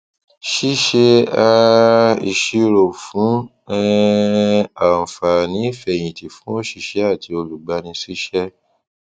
ṣíṣe um ìṣirò fún um àǹfààní ìfẹyìntì fún òṣìṣẹ àti olùgbanisíṣẹ